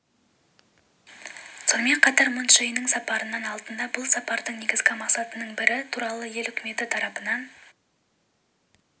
сонымен қатар мун чже иннің сапарының алдында бұл сапардың негізгі мақсатының бірі туралы ел үкіметі тарапынан